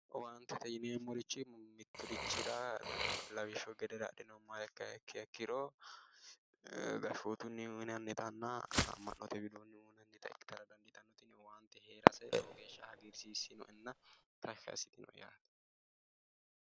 Owaantete yineemmorichi miturichira lawishshu gede adhinuummoro ikkiha ikkiro gashootuni uyinannittanna ama'note widooni uyinannitta ikkittara dandiittano, tini owaante heerase lowo geeshsha hagiirsisinoenna tashshi assitinoe yaate